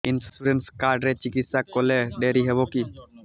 insurance card ରେ ଚିକିତ୍ସା କଲେ ଡେରି ହବକି